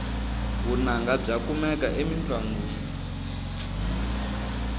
vunanga bya kumeka emintlongwini